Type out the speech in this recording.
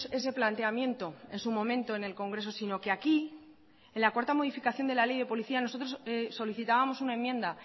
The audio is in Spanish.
ese planteamiento en su momento en el congreso sino que aquí en la cuarta modificación de la ley de policía nosotros solicitábamos una enmienda